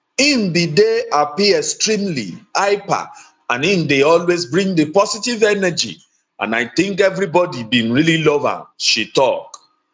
im bin dey happy extremely hyper and im dey always bring di positive energy and i tink evribodi bin really love am she tok